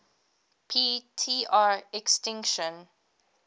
p tr extinction